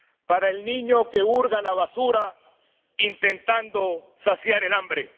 para el niño que hurga en la basura intentando saciar el hambre